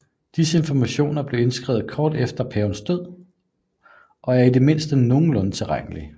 Disse informationer blev indskrevet kort efter hver paves død og er i det mindste nogenlunde tilregnlige